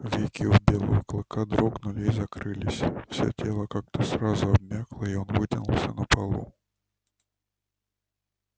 веки у белого клыка дрогнули и закрылись всё тело как-то сразу обмякло и он вытянулся на полу